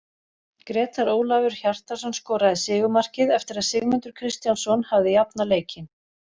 Grétar Ólafur Hjartarson skoraði sigurmarkið eftir að Sigmundur Kristjánsson hafði jafnað leikinn.